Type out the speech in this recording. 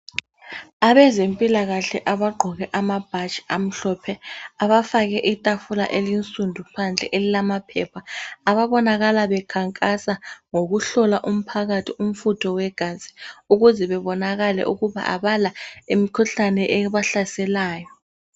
Abezempilakahle abagqoke amabhatshi amhlophe abafake itafula elinsundu phandle elilama phepha ababonakala bekhankasa ngokuhlola umphakathi umfutho wegazi ukuze bebonakale ukuba abala imikhuhlane ebahlaselayo.